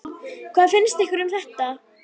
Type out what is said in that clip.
Hvað finnst ykkur um þetta?